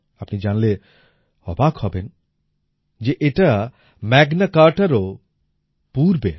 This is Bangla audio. আপনি জানলে অবাক হবেন যে এটা ম্যাগনা কার্টা রও পূর্বের